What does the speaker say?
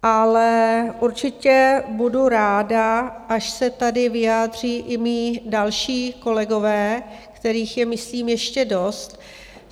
Ale určitě budu ráda, až se tady vyjádří i mí další kolegové, kterých je myslím ještě dost.